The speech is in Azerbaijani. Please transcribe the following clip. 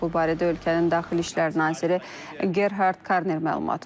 Bu barədə ölkənin daxili İşlər naziri Gerhard Karner məlumat verib.